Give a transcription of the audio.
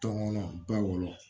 Tɔŋɔnɔ ba wɔɔrɔ